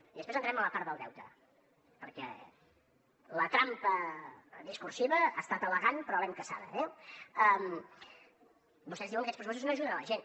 i després entrem a la part del deute perquè la trampa discursiva ha estat elegant però l’hem caçada eh vostès diuen que aquests pressupostos no ajuden la gent